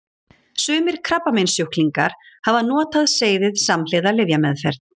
Sumir krabbameinssjúklingar hafa notað seyðið samhliða lyfjameðferð.